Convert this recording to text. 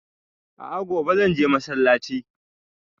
A'a gobe zan je masallaci